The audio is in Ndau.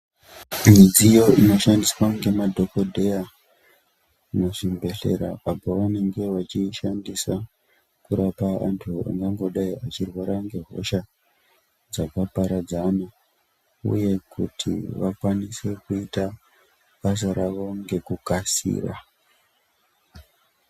Midziyo inoshandiswa ngemadhokodheya muzvibhedhlera apa vanenge vachishandisa kurapa vantu vangangodai veirwara nehosha dzakaparadzana uye kuti vakwanise kuita basa ravo ngekukasira.